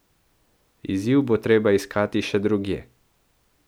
Izziv bo treba iskati še drugje.